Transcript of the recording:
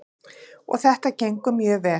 Og þetta gengur mjög vel.